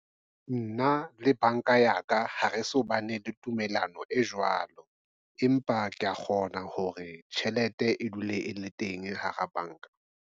Nna le banka ya ka. Ha re so bane le tumellano e jwalo, empa kea kgona hore tjhelete e dule e le teng hara banka.